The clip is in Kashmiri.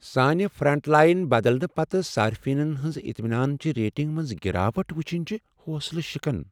سانہِ فرنٹ لائن بدلنہٕ پتہٕ صارفینن ہنٛزِ اطمینان چہِ ریٹنگہِ منٛز گراوٹ وٕچھن چِھ حوصلہ شِکن۔